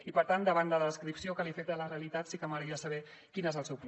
i per tant davant de la descripció que li he fet de la realitat sí que m’agradaria saber quin és el seu pla